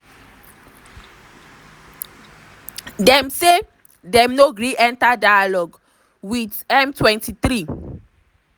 dem say dem no gree enta dialogue wit di m23.